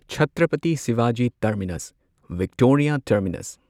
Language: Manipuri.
Chhatrapati Shivaji Terminus Victoria terminus